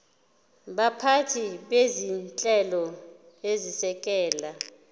baphathi bezinhlelo ezisekela